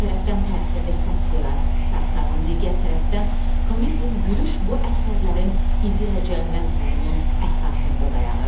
Bir tərəfdən təsirli satira, sarkazm, digər tərəfdən komizm, gülüş bu əsərlərin ideyaca məzmununun əsasında dayanır.